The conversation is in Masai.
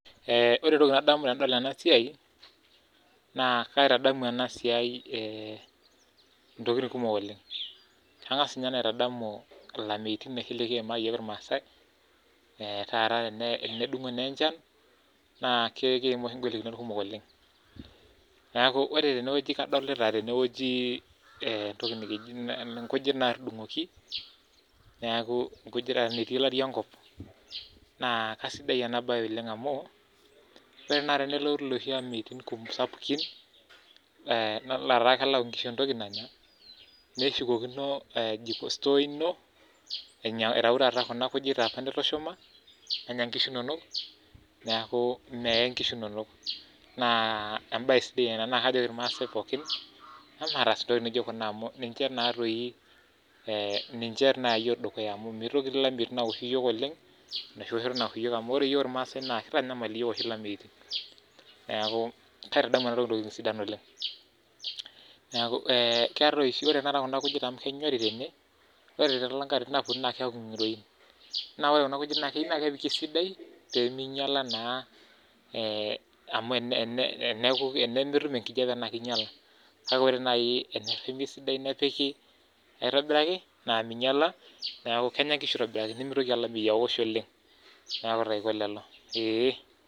ore entoki nadamu tenadol ena naa kaangas ninye aitadamu ilameitin kumok oleng likiima oshi naa keyau oshi asara sapuk oleng naa kisidai ena baye oleng amuu ore ake peeponu lelo ameitin naa ketum inkishu entokitin nitushumaka. Naa kajoki ake nanu irmaasae pees ena amu enetipat oleng. Kepiki oshi kuna kujit aitobiraki peeminyala amuu ina kata naa eponu nkishu aanya esidai